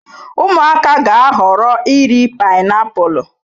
Ụmụaka ga-ahọrọ iri painiapulu.